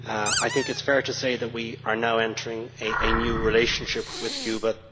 I think it is fair to say that we are now entering a new relationship with Cuba.